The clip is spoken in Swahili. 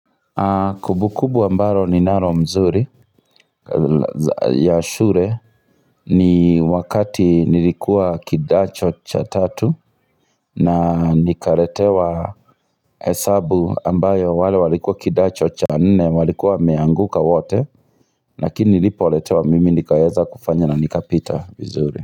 Kumbukumbu ambalo ninalo mzuri ya shule ni wakati nilikuwa kidato cha tatu na nikaletewa hesabu ambayo wale walikuwa kidato cha nne walikuwa wameanguka wote lakini nilipoletewa mimi nikaeza kufanya na nikapita vizuri.